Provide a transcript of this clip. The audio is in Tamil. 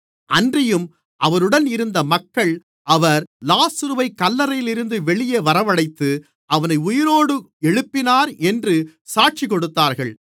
அன்றியும் அவருடன் இருந்த மக்கள் அவர் லாசருவைக் கல்லறையிலிருந்து வெளியே வரவழைத்து அவனை உயிரோடு எழுப்பினார் என்று சாட்சிகொடுத்தார்கள்